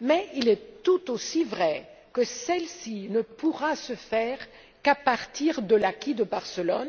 Mais il est tout aussi vrai que celle ci ne pourra se faire qu'à partir de l'acquis de Barcelone,